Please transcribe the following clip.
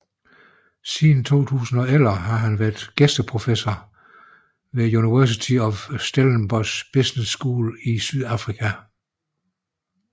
Siden 2011 har han været gæsteprofessor ved University of Stellenbosch Business School i Sydafrika